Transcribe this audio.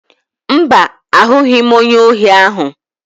Mba, ahụghị m onye ohi ahụ.